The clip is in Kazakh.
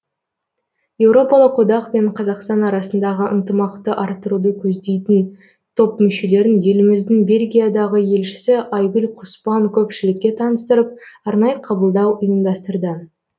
еуропалық одақ пен қазақстан арасындағы ынтымақты арттыруды көздейтін топ мүшелерін еліміздің бельгиядағы елшісі айгүл құспан көпшілікке таныстырып арнайы қабылдау ұйымдастырды